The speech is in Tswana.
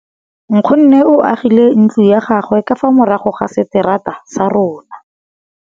Nkgonne o agile ntlo ya gagwe ka fa morago ga seterata sa rona.